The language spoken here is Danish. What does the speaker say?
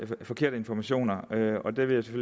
på forkerte informationer og det vil jeg